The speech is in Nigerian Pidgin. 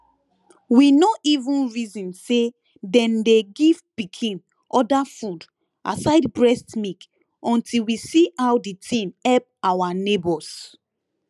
we no even reason say then dey give pikin other food aside breast milk until we see how the thing help our neighbors